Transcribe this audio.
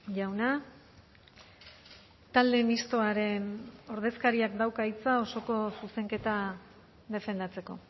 jauna talde mistoaren ordezkariak dauka hitza osoko zuzenketa defendatzeko